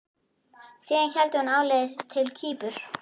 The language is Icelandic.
Síðan hélt hún áleiðis til Kýpur.